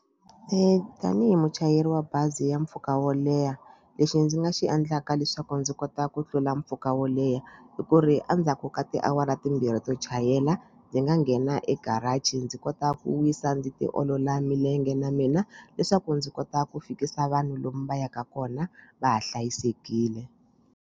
Tanihi muchayeri wa bazi ya mpfhuka wo leha lexi ndzi nga xi endlaka leswaku ndzi kota ku tlula mpfhuka wo leha hi ku ri endzhaku ka tiawara timbirhi to chayela ndzi nga nghena egarage ndzi kota ku wisa ndzi tiolola milenge na mina leswaku ndzi kota ku fikisa vanhu lomu va yaka kona va ha hlayisekile.